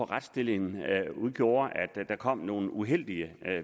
retsstillingen gjorde at der kom nogle uheldige